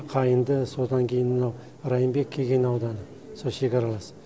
қайынды содан кейін мынау райымбек кеген ауданы сол шекаралас